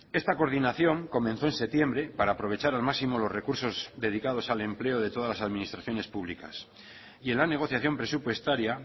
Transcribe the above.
esta coordinación comenzó en septiembre para aprovechar al máximo los recursos dedicados al empleo de todas las administraciones públicas y en la negociación presupuestaria